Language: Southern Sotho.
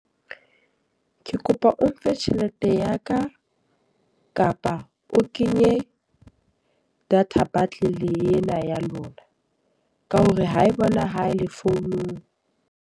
Ke kopa o mphe tjhelete ya ka, kapa o kenye data bundle ena ya lona. Ka hore ha e bonahale founung.